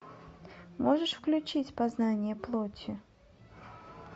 можешь включить познание плоти